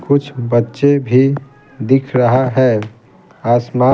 कुछ बच्चे भी दिख रहा है आसमा --